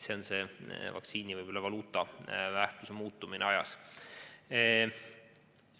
See näitab vaktsiinivaluuta väärtuse muutumist ajas.